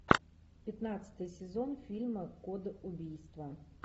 пятнадцатый сезон фильма код убийства